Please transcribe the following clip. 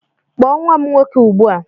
Kpọọ nwa m nwoke ugbu a!